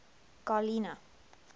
garlina